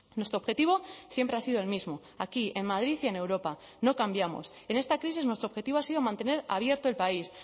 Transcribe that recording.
nuestro objetivo siempre ha sido el mismo aquí en madrid y en europa no cambiamos en esta crisis nuestro objetivo ha sido mantener abierto el país